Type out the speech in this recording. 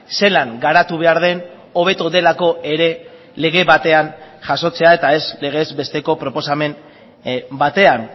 zelan garatu behar den hobeto delako ere lege batean jasotzea eta ez legez besteko proposamen batean